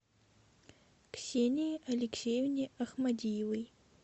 ксении алексеевне ахмадиевой